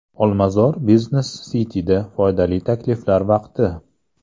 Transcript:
Olmazor Business City’da foydali takliflar vaqti!.